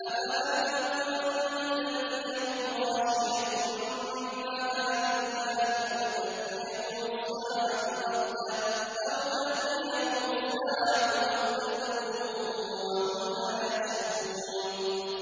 أَفَأَمِنُوا أَن تَأْتِيَهُمْ غَاشِيَةٌ مِّنْ عَذَابِ اللَّهِ أَوْ تَأْتِيَهُمُ السَّاعَةُ بَغْتَةً وَهُمْ لَا يَشْعُرُونَ